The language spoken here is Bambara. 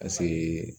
Paseke